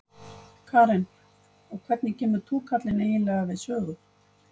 Karen: Og hvernig kemur túkallinn eiginlega við sögu?